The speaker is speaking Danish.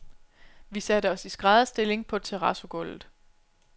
Vi satte os i skrædderstilling på terrazzogulvet.